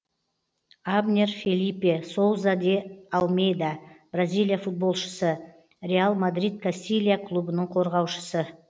абнер фелипе соуза де алмейда бразилия футболшысы реал мадрид кастилья клубының қорғаушысы